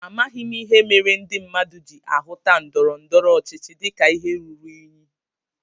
Amaghị m ihe mere ndị mmadụ ji ahuta ndọrọndọrọ ọchịchị dịka ihe ruru unyi